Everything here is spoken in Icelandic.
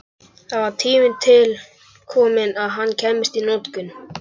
Það var tími til kominn að hann kæmist í notkun!